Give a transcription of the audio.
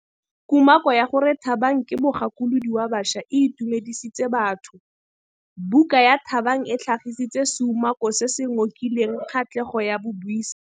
Kumakô ya gore Thabang ke mogakolodi wa baša e itumedisitse batho. Buka ya Thabang e tlhagitse seumakô se se ngokileng kgatlhegô ya babuisi.